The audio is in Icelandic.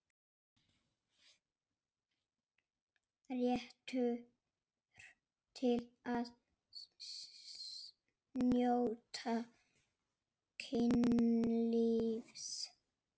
Réttur til að njóta kynlífs